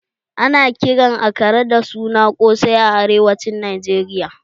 Ana kiran akara da suna ƙosai a arewacin Najeriya